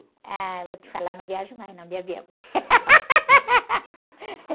Ah, vou te falar, não viajo mais não, de avião.